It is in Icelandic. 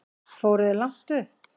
Fóruð þér langt upp?